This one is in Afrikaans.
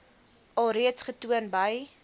alreeds getoon by